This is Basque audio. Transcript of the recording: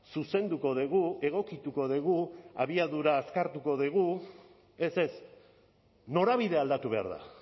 zuzenduko dugu egokituko dugu abiadura azkartu dugu ez ez norabidea aldatu behar da